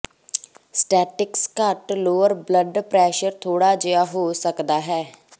statics ਘੱਟ lower blood pressure ਥੋੜ੍ਹਾ ਜਿਹਾ ਹੋ ਸਕਦਾ ਹੈ